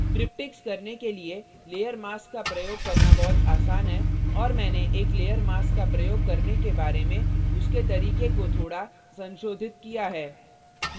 triptychs करने के लिए layer mask का प्रयोग करना बहुत आसान है और मैंने एक layer mask का प्रयोग करने के बारे में उसके तरीके को थोड़ा संशोधित किया है